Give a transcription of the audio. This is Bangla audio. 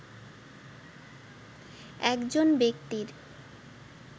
একজন ব্যক্তির